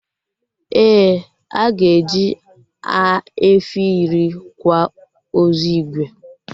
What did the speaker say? Ee, aga eji efi iri kwa ozu Igwe